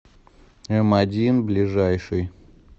эмодин ближайший